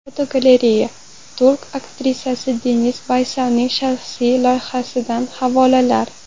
Fotogalereya: Turk aktrisasi Deniz Baysalning shaxsiy hayotidan lavhalar.